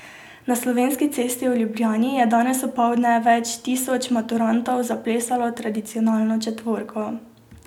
Na Slovenski cesti v Ljubljani je danes opoldne več tisoč maturantov zaplesalo tradicionalno četvorko.